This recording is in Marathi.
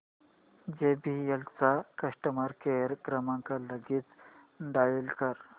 जेबीएल चा कस्टमर केअर क्रमांक लगेच डायल कर